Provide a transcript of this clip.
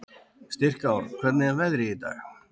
Styrkár, hvernig er veðrið í dag?